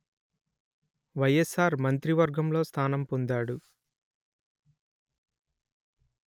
వైఎస్సార్ మంత్రివర్గంలో స్థానం పొందాడు